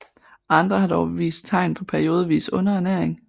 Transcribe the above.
Andre har dog vist tegn på periodevis underernæring